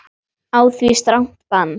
Á því strangt bann.